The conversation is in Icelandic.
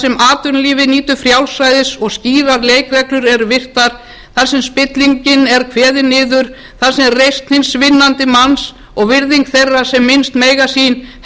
atvinnulífið nýtur frjálsræðis og skýrar leikreglur eru virtar þar sem spillingin er kveðin niður þar sem reisn hins vinnandi manns og virðing þeirra sem minnst mega sín helst í